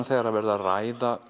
þegar er verið að ræða